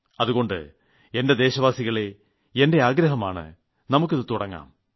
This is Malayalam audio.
അതുകൊണ്ട് എന്റെ ദേശവാസികളേ എന്റെ ആഗ്രഹമാണ് നമുക്ക് ഇതു തുടങ്ങാം